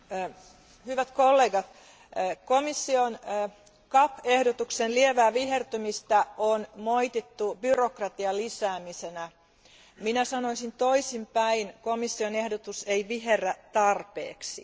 Arvoisa puhemies, hyvät kollegat, komission Gatt ehdotuksen lievää vihertymistä on moitittu byrokratian lisäämisenä. Minä sanoisin toisin päin, komission ehdotus ei viherrä tarpeeksi.